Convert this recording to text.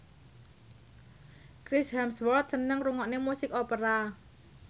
Chris Hemsworth seneng ngrungokne musik opera